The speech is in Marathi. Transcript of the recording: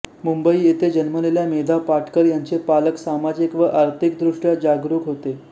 मुंबई येथे जन्मलेल्या मेधा पाटकर यांचे पालक सामाजिक व राजकीयदृष्ट्या जागरूक होते